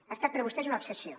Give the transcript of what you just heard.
ha estat per a vostès una obsessió